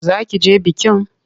Za ki je bikin?